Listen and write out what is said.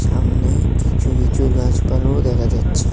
আমনে কিচু কিচু গাছপালাও দেখা যাচ্ছে।